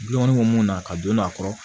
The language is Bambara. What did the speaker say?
Dukɔnɔ mun na ka don a kɔrɔ